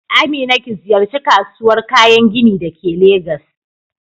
Amina ki ziyarci kasuwar kayan gini da ke Legas